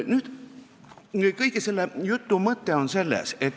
Mis on kõige selle jutu mõte?